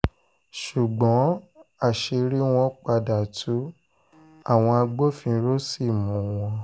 ṣùgbọ́n àṣírí wọn padà tu àwọn agbófinró sí mú wọn